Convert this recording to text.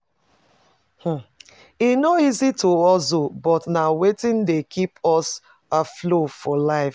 E no easy to hustle, but na wetin dey keep us afloat for life.